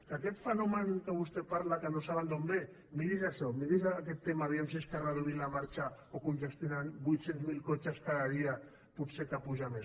que aquest fenomen de què vostè parla que no saben d’on ve miri’s això miri’s aquest tema a veure si és que reduint la marxa o congestionant vuit cents mil cotxes cada dia pot ser que puja més